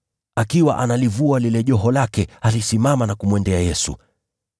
Akiwa analivua lile joho lake, alisimama na kumwendea Yesu.